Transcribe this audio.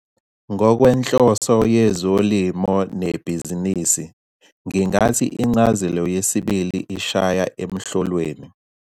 Ngokwenhloso yezolimo nebhizinisi, ngingathi incazelo yesibili ishaya emhlolweni.